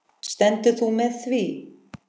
Stendur þú með því?